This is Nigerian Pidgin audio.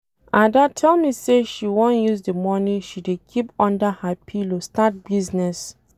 Ada tell me say she wan use the money she dey keep under her pillow start business.